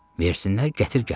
Versinlər, gətir gəl.